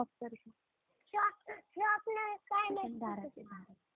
Hello.